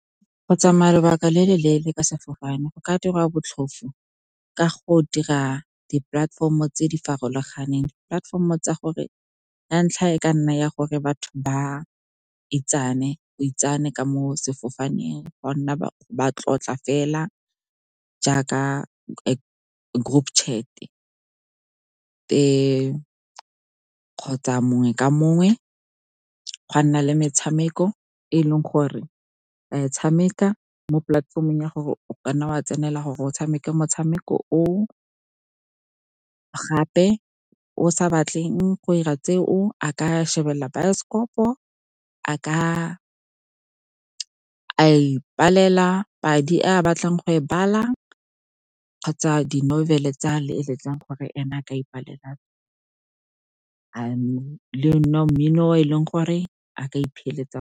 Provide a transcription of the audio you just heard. Go tsamaya lebaka le le leele ka sefofane go ka dirwa botlhofo ka go dira di-platform-o tse di farologaneng. Platform-o tsa gore ya ntlha e ka nna ya gore batho ba itsane, go itsanwe ka mo sefofaneng, ba tlotla fela jaaka group chat-e, kgotsa mongwe ka mongwe go a nna le metshameko e e leng gore re e tshameka mo polatefomong ya gore o kanna wa tsenela gore o tshameka motshameko o o. Gape o sa batleng go 'ira tseo a ka shebelela baesekopo, a ka ipalela padi a batlang go e bala kgotsa di-novel-e tsa eletsang gore ene a ka ipalela le mmino e leng gore a ka .